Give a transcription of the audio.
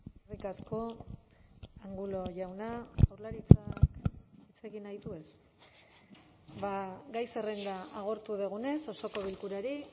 eskerrik asko angulo jauna jaurlaritza hitz egin nahi du ez ba gai zerrenda agortu dugunez osoko bilkurari